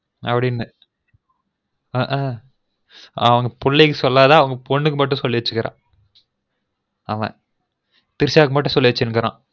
அப்டினு ஹுஹு அவன்புள்ளைக்கு சொல்லாம அவன் பொன்னுக்கு மட்டும் சொல்லிருகான் பாரு அவன் திரிஷா கு மட்டும் சொல்லிருகான்